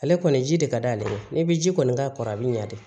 Ale kɔni ji de ka d'ale ye ni bɛ ji kɔni k'a kɔrɔ a bɛ ɲa de